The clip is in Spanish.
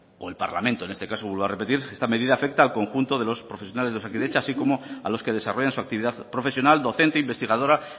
o el parlamento en este caso vuelvo a repetir esta medida afecta al conjunto de los profesionales de osakidetza así como a los que desarrollan su actividad profesional docente investigadora